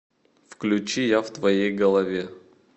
включи я в твоей голове